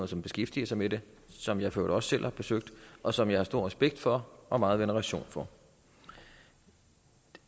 som beskæftiger sig med det som jeg for øvrigt også selv har besøgt og som jeg har stor respekt for og meget veneration for